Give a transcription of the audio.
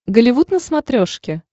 голливуд на смотрешке